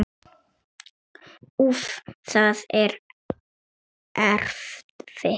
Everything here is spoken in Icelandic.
Úff, það er erfitt.